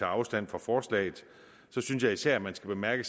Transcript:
afstand fra forslaget synes jeg især man skal bemærke